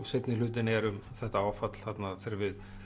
seinni hlutinn er um þetta áfall þarna þegar